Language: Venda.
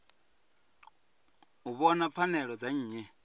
u vhona pfanelo dza nnyi